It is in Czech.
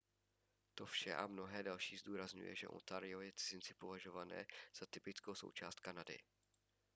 to vše a mnohé další zdůrazňuje že ontario je cizinci považované za typickou součást kanady